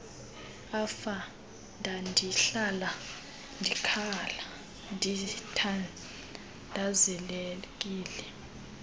afa ndandihlala ndikhathazekile